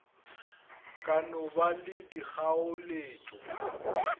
ka no ba le dikgaoletšo